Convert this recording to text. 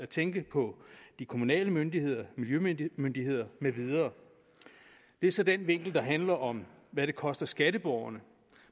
tænke på de kommunale myndigheder miljømyndigheder med videre det er så den vinkel der handler om hvad det koster skatteborgerne